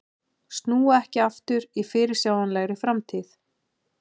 Snúa ekki aftur í fyrirsjáanlegri framtíð